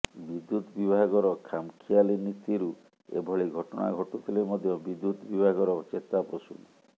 ବିଦ୍ୟୁତ୍ ବିଭାଗର ଖାମଖିଆଲି ନିତିରୁ ଏଭଳି ଘଟଣା ଘଟୁଥିଲେ ମଧ୍ୟ ବିଦ୍ୟୁତ୍ ବିଭାଗର ଚେତା ପଶୁନି